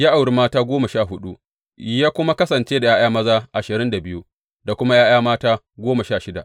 Ya auri mata goma sha huɗu, ya kuma kasance da ’ya’ya maza ashirin da biyu da kuma ’ya’ya mata goma sha shida.